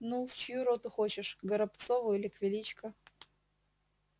ну в чью роту хочешь к горобцову или к величко